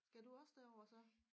Skal du også derover så